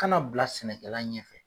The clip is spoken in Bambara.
Kana bila sɛnɛkɛla ɲɛfɛ